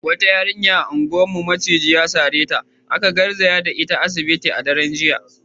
Wata yarinya a unguwarmu maciji ya sare ta, aka garzaya da ita asibiti a daren jiya.